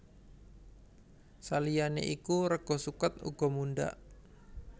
Saliyané iku rega suket uga mundhak